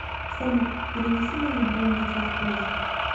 салют перенеси мою бронь на час позже